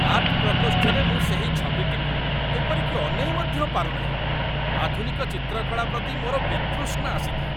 Art ପ୍ରକୋଷ୍ଠରେ ମୁଁ ସେହି ଛବିଟିକୁ ଏପରିକି ଅନେଇ ମଧ୍ୟ ପାରୁନାହିଁ, ଆଧୁନିକ ଚିତ୍ରକଳା ପ୍ରତି ମୋର ବିତୃଷ୍ଣା ଆସିଥାଏ।